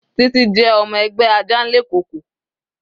Titi jẹ́ ọmọ ẹgbẹ́ Ajanlekoko.